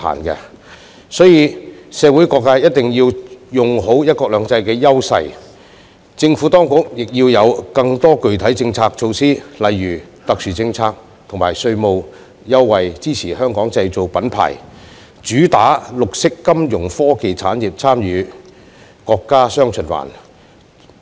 因此，社會各界一定要用好"一國兩制"優勢，而政府當局亦要有更多具體政策措施，例如特殊政策及稅務優惠，以支持"香港製造"品牌，主打綠色金融科技產業參與國家"雙循環"。